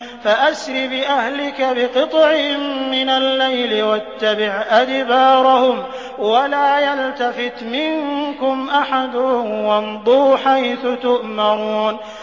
فَأَسْرِ بِأَهْلِكَ بِقِطْعٍ مِّنَ اللَّيْلِ وَاتَّبِعْ أَدْبَارَهُمْ وَلَا يَلْتَفِتْ مِنكُمْ أَحَدٌ وَامْضُوا حَيْثُ تُؤْمَرُونَ